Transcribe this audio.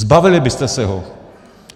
Zbavili byste se ho.